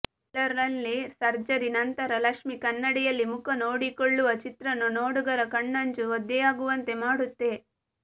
trailer ನಲ್ಲಿ surgery ನಂತರ ಲಕ್ಷ್ಮೀ ಕನ್ನಡಿಯಲ್ಲಿ ಮುಖ ನೋಡಿಕೊಳ್ಳುವ ಚಿತ್ರಣ ನೋಡುಗರ ಕಣ್ಣಂಚು ಒದ್ದೆಯಾಗುವಂತೆ ಮಾಡುತ್ತೆ